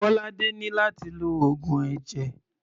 Bolade ní láti lo oògùn ẹ̀jẹ̀.